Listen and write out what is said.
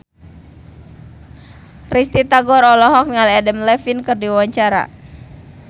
Risty Tagor olohok ningali Adam Levine keur diwawancara